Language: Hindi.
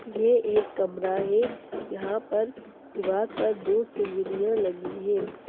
ये एक कमरा है यहा पर दीवार पर दो सीनरिया लगी है।